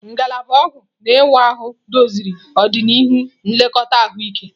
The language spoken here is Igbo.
Ngalaba ọgwụ na ịwa ahụ doziri ọdịnihu nlekọta ahụike.